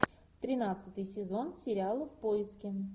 тринадцатый сезон сериала в поиске